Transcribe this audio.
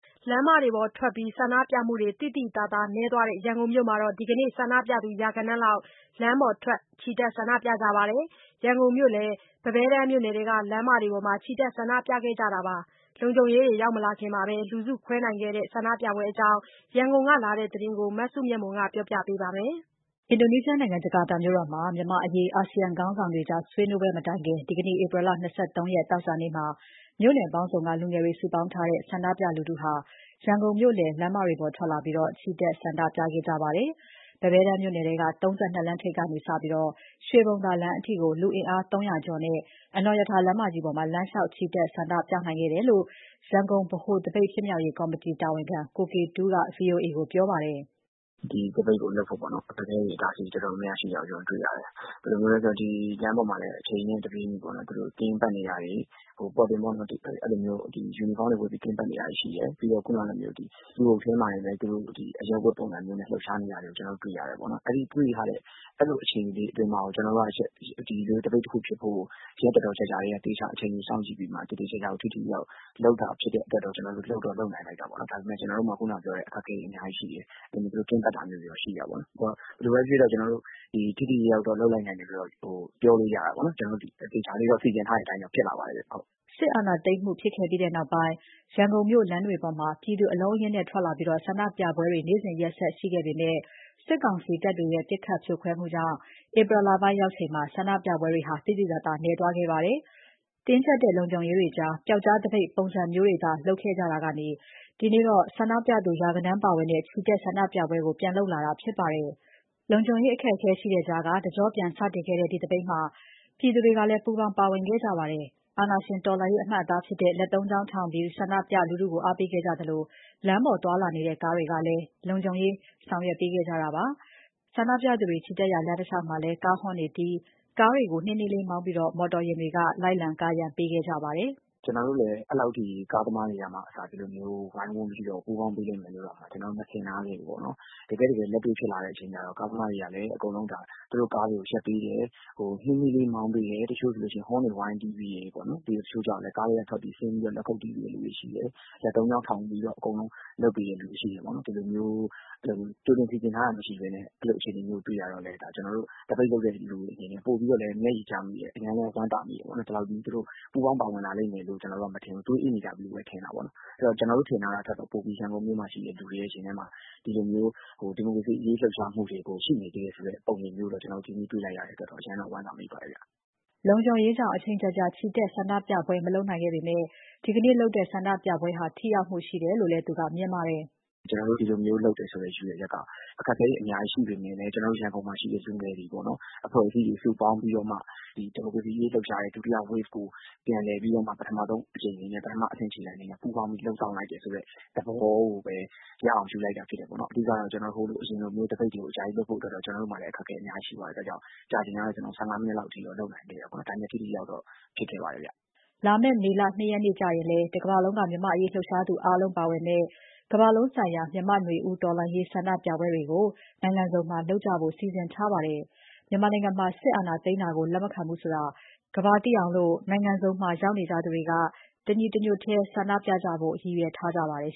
လမ်းပေါ်ထွက် ဆန္ဒပြမှုတွေ သိသိသာသာနည်းသွားတဲ့ ရန်ကုန်မြို့မှာ ဒီနေ့ ဆန္ဒပြသူ ရာဂဏန်းလောက် လမ်းပေါ်ထွက် ချီတက်ဆန္ဒပြကြပါတယ်။ ရန်ကုန်မြို့လည် ပန်းပဲတန်းမြို့နယ်ထဲက လမ်းတွေပေါ်မှာ ချီတက်ဆန္ဒပြခဲ့ကြတာဖြစ်ပါတယ်။ လုံခြုံရေးတွေ ရောက်မလာခင်မှာပဲ လူစုခွဲနိုင်ခဲ့တဲ့ ဆန္ဒပြပွဲအကြောင်း ရန်ကုန်ကလာတဲ့သတင်းကို မစုမြတ်မွန်? ကပြောပြပါမယ်။ အင်ဒိုနီးရှားနိုင်ငံ ဂျကာတာမြို့တော်မှာ မြန်မာ့အရေး အာဆီယံခေါင်းဆောင်တွေကြား ဆွေးနွေးကြမယ့် ရက် မတိုင်ခင် ဒီနေ့ ဧပြီလ ၂၃ ရက်နေ့မှာ မြို့နယ်ပေါင်းစုံက လူငယ်တွေစုပေါင်းထားတဲ့ ဆန္ဒပြလူထုဟာ ရန်ကုန်မြို့လယ် လမ်းမတွေပေါ်ထွက်လာပြီး ချီတက်ဆန္ဒပြခဲ့ကြပါတယ်။ ပန်းပဲတန်းမြို့နယ်ထဲက ၃၂ လမ်းထိပ်ကနေစပြီး ရွှေဘုံသာလမ်းအထိ လူအင်အား ၃၀၀ ကျော်နဲ့ အနော်ရထာလမ်းမကြီးပေါ်မှာ လမ်းလျှောက်ချီတက် ဆန္ဒပြနိုင်ခဲ့တယ်လို့ ရန်ကုန်ဗဟိုသပိတ် ဖြစ်မြောက်ရေးကော်မတီ တာဝန်ခံ ကိုကေတူးက VOA ကိုပြောပါတယ်။ “ဒီသပိတ်ကိုလုပ်ဖို့ အခက်အခဲတွေ၊ အတားအဆီးတွေ တော်တော်များများရှိတာကို ကျနော်တို့တွေ့ရတယ်။ ဘယ်လိုမျိုးလဲဆိုတော့ ဒီလမ်းပေါ်မှာလည်း အချိန်နဲ့တပြေးညီ သူတို့ယူနီဖောင်းတွေဝတ်ပြီး ကင်းပတ်နေတာတွေ ရှိတယ်။ ပြီးတော့ လူအုပ်ထဲမှာတင်ပဲ အရပ်ဝတ်ပုံစံမျိုးနဲ့ လှုပ်ရှားနေတာတွေကို ကျနော်တို့တွေ့ရတယ်ပေါ့နော်။ အဲဒီလို အခြေအနေမျိုးထဲမှာကို ဒီလိုမျိုး သပိတ်တခုဖြစ်ဖို့ကို ရက်တော်တော်ကြာကြာကတည်းက အချိန်ယူသေချာ စောင့်ကြည့်ပြီးမှ လုပ်တာဖြစ်တဲ့အတွက်ကြောင့် လုပ်တော့လုပ်နိုင်လိုက်တာပေါ့နော်။ ဒါပေမဲ့ ကျနော်တို့မှာ ခုနကပြောတဲ့ အခက်အခဲတွေ အများကြီးရှိတယ်။ ဘယ်လိုပဲဖြစ်ဖြစ် စီစဉ်ထားတဲ့အတိုင်းတော့ ဖြစ်လာပါတယ်ဗျ။” စစ်အာဏာသိမ်းမှုဖြစ်ခဲ့ပြီးနောက် ရန်ကုန်မြို့လမ်းတွေပေါ် ပြည်သူ အလုံးအရင်းနဲ့ ထွက်လာပြီး ဆန္ဒပြပွဲတွေ နေ့စဉ်ရက်ဆက် ရှိခဲ့ပေမဲ့ စစ်ကောင်စီ တပ်တွေရဲ့ ပစ်ခတ်ဖြိုခွဲမှုတွေကြောင့် ဧပြီလပိုင်းရောက်ချိန်မှာ ဆန္ဒပြပွဲတွေ သိသိသာသာ နည်းသွားခဲ့ပါတယ်။ တင်းကြပ်တဲ့ လုံခြုံရေးတွေကြား ပျောက်ကြားသပိတ် ပုံစံမျိုးတွေ လုပ်ခဲ့ကြတာကနေ ဒီနေ့တော့ ဆန္ဒပြသူ ရာဂဏန်းပါဝင်တဲ့ ဆန္ဒပြပွဲကို ပြန်လုပ်လာတာဖြစ်ပါတယ်။ စစ်အာဏာရှင် တော်လှန်ရေး အမှတ်အသားဖြစ်တဲ့ လက်သုံးချောင်းထောင်ပြီး ဆန္ဒပြလူထုကို အားပေးခဲ့ကြသလို၊ လမ်းပေါ်သွားလာနေတဲ့ ကားတွေကလည်း လုံခြုံရေးဆောင်ရွက်ပေးခဲ့တာပါ။ ဆန္ဒပြလူထုချီတက်ရာ လမ်းတလျှောက်မှာ ကားဟွန်းတီးပြီး အနှေးမောင်းပုံစံနဲ့ မော်တော်ယာဉ်တွေဟာ ကာရံပေးခဲ့ကြပါတယ်။ “ကျနော်တို့လည်း အဲဒီလောက်ထိ ကားသမားတွေကအစ ဒီလိုမျိုး ဝိုင်းဝန်းပြီးတော့ ပူးပေါင်းပေးလိမ့်မယ်လို့ မထင်ထားခဲ့ဘူးပေါ့နော်။ တကယ့်တကယ် လက်တွေ့ဖြစ်လာတဲ့ အချိန်ကျတော့ ကားသမားတွေကလည်း သူတို့ကားတွေကို ရပ်ပေးတယ်၊ နှေးနှေးလေး မောင်းပေးတယ်၊ တချို့ဆို ဟွန်းတွေဝိုင်းတီးပေးတယ်ပေါ့နော်။ တချို့ကျတော့လည်း ကားထဲကဆင်းပြီး လက်ခုတ်တီးပေးတဲ့သူတွေ ရှိတယ်။ လက်သုံးချောင်းထောင်ပြီးတော့ လုပ်ပေးတဲ့သူတွေရှိတယ်ပေါ့နော်။ ဒီလိုမျိုး ကြိုတင်ပြင်ဆင်ထားတာ မရှိဘဲနဲ့ အဲလိုအခြေအနေမျိုးကို တွေ့ရတော့လည်း ကျနော်တို့ သပိတ်လုပ်တဲ့လူတွေအနေနဲ့ ပိုပြီးတော့လည်း မျက်ရည်ကျမိတယ်၊ အရမ်းလည်း ဝမ်းသာမိတယ်ပေါ့နော်။ ဒီလောက်ကြီး ပူးပေါင်းပါဝင်လာလိမ့်မယ်လို့ ကျနော်တို့မထင်ဘူး၊ သွေးအေးနေကြပြီပဲ ထင်တာပေါ့နော်။ အဲတော့ ကျနော်တို့ထင်ထားတာထက် ပိုပြီး ရန်ကုန်မြို့မှာရှိတဲ့ လူတွေရဲ့ရင်ထဲမှာ ဒီမိုကရေစီအရေး လှုပ်ရှားမှုတွေကို ရှိနေသေးတယ်ဆိုတဲ့ ပုံရိပ်မျိုးကိုလည်း ကျနော်တို့ ဒီနေ့မှာ တွေ့လိုက်ရတဲ့အတွက်တော့ အရမ်းလည်းဝမ်းသာမိပါတယ်ဗျ။” လုံခြုံရေးကြောင့် အချိန်ကြာကြာ ချီတက် ဆန္ဒပြပွဲ မလုပ်နိုင်ခဲ့ပေမဲ့ ဒီနေ့လုပ်တဲ့ ဆန္ဒပြပွဲဟာ ထိရောက်မှုရှိတယ်လို့လည်း သူက မြင်ပါတယ်။ “ကျနော်တို့ ဒီလိုမျိုးလုပ်တယ်ဆိုတဲ့ ရည်ရွယ်ချက်က အခက်အခဲတွေ အများကြီးရှိပေမဲ့လည်း ရန်ကုန်မှာရှိတဲ့ လူငယ်အဖွဲ့အစည်းတွေ စုပေါင်းပြီးတော့ ဒီမိုကရေစီအရေး လှုပ်ရှားတဲ့ ဒုတိယလှိုင်းကို ပြန်လည်ပြီးတော့မှ ပထမဆုံးအကြိမ်အနေနဲ့ ပထမဆုံးအဆင့် ခြေလှမ်းအနေနဲ့ ပူးပေါင်းလုပ်ဆောင်လိုက်တယ်ဆိုတဲ့ သဘောကိုပဲ ရအောင်ယူလိုက်တာ ဖြစ်တယ်ပေါ့နော်။ အဓိကတော့ အရင်လို သပိတ်တွေကို အကြာကြီးလုပ်ဖို့က ကျနော်တို့မှာလည်း အခက်အခဲ အများကြီးရှိတဲ့အတွက် ကြာချိန်ကတော့ ၁၅မိနစ် လောက်ထိတော့ လုပ်နိုင်ခဲ့တယ်ပေါ့နော်။ ဒါပေမဲ့ ထိထိရောက်ရောက်တော့ ဖြစ်ခဲ့ပါတယ်ဗျ။” လာမယ့် မေလ ၂ရက်နေ့ကျရင်လည်း တကမ္ဘာလုံးက မြန်မာ့အရေးလှုပ်ရှားသူ အားလုံးပါဝင်မယ့် ကမ္ဘာလုံးဆိုင်ရာ မြန်မာ့နွေဦး တော်လှန်ရေးဆန္ဒပြပွဲတွေကို နိုင်ငံစုံမှာလုပ်ကြဖို့ စီစဉ်ထားကြပါတယ်။ မြန်မာနိုင်ငံမှာ စစ်အာဏာသိမ်းတာကို လက်မခံဘူးဆိုတာ ကမ္ဘာသိအောင် နိုင်ငံစုံမှာ ရောက်နေကြသူတွေက ညီညီညွတ်ညွတ်ပြသဖို့ ရည်ရွယ်ထားကြပါတယ်